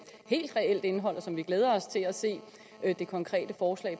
helt reelt indhold og som vi glæder os til at se det konkrete forslag